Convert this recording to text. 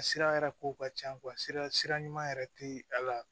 A sira yɛrɛ kow ka ca sira sira ɲuman yɛrɛ tɛ a la